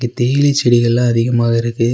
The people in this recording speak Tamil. டீ இலை செடிகள் லாம் அதிகமா இருக்கு.